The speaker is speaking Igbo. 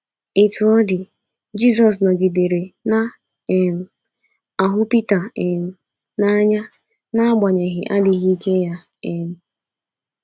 Otú ọ dị, Jisọs nọgidere na - um ahụ Pita um n’anya n’agbanyeghị adịghị ike ya. um